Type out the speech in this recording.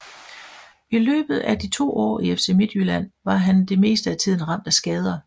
I løbet af de to år i FC Midtjylland var han det meste af tiden ramt af skader